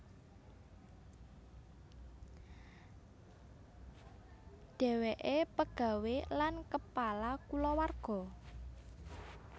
Dheweke pegawé lan kepala kulawarga